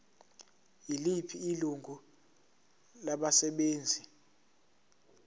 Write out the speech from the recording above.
yiliphi ilungu labasebenzi